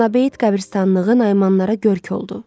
Ana beyit qəbristanlığı Naimanlara görk oldu.